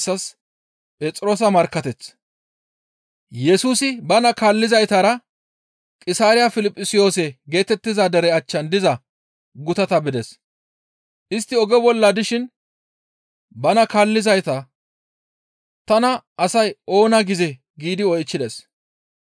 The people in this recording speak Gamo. Yesusi bana kaallizaytara Qisaariya Piliphisiyoose geetettiza dere achchan diza gutata bides; istti oge bolla dishin bana kaallizayta, «Tana asay oona gizee?» giidi oychchides.